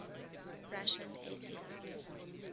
russian atheists